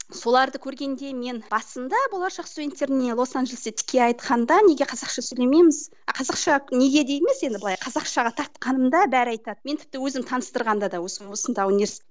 соларды көргенде мен басында болашақ студенттеріне лос анджелесте тіке айтқанда неге қазақша сөйлемейміз а қазақша неге деп емес енді былай қазақшаға тартқанымда бәрі айтады мен тіпті өзімді таныстырғанда да осы осында